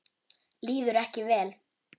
Líður ekki vel.